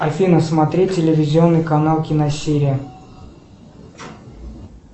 афина смотреть телевизионный канал киносерия